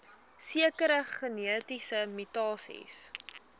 sekere genetiese mutasies